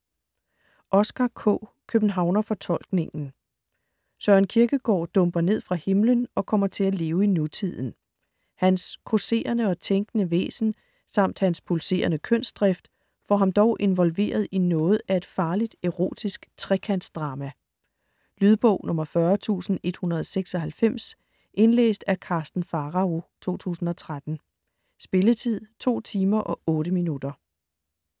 Oscar K.: Københavnerfortolkningen Søren Kierkegaard dumper ned fra himlen og kommer til at leve i nutiden. Hans causerende og tænkende væsen samt hans pulserende kønsdrift får ham dog involveret i noget af et farligt erotisk trekantsdrama. Lydbog 40196 Indlæst af Karsten Pharao, 2013. Spilletid: 2 timer, 8 minutter.